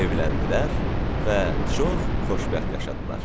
Evləndilər və çox xoşbəxt yaşadılar.